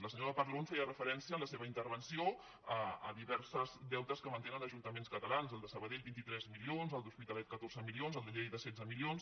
la senyora parlon feia referència en la seva interven·ció a diversos deutes que mantenen ajuntaments ca·talans el de sabadell vint tres milions el de l’hospitalet catorze milions el de lleida setze milions